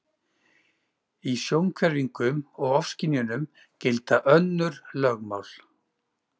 Í sjónhverfingum og ofskynjunum gilda önnur lögmál.